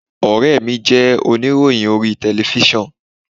Ọ̀rẹ́ mi jẹ́ oníròyìn orí telifíṣàn.